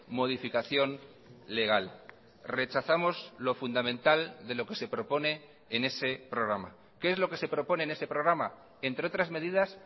modificación legal rechazamos lo fundamental de lo que se propone en ese programa qué es lo que se propone en ese programa entre otras medidas